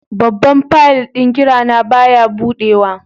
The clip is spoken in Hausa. Babban fayil ɗin ƙira na baya buɗewa.